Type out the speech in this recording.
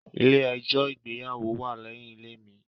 Ilé-ẹjọ̀ ìgbéyàwó wa lẹ́yin ilé mi.